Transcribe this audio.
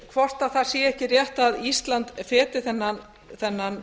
hvort það sé ekki rétt að ísland feti þennan